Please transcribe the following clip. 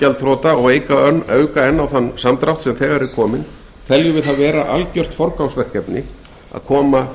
gjaldþrota og auka enn á þann samdrátt sem þegar er kominn teljum við það vera forgangsverkefni að koma